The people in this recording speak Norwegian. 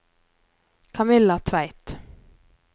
Kamilla Tveit